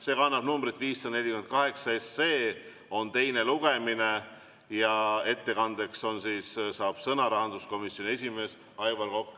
See kannab numbrit 548 SE, on teine lugemine ja ettekandeks saab sõna rahanduskomisjoni esimees Aivar Kokk.